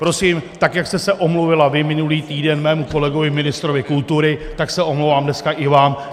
Prosím, tak jak jste se omluvila vy minulý týden mému kolegovi ministrovi kultury, tak se omlouvám dneska i vám.